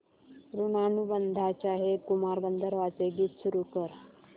ऋणानुबंधाच्या हे कुमार गंधर्वांचे गीत सुरू कर